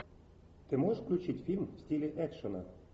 ты можешь включить фильм в стиле экшена